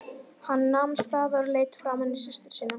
Hann nam staðar og leit framan í systur sína.